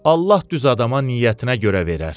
Allah düz adama niyyətinə görə verər.